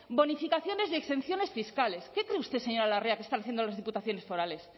bonificaciones de exenciones fiscales qué cree usted señora larrea que están haciendo las diputaciones forales